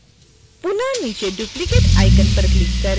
पुनः नीचे duplicate icon पर क्लिक करें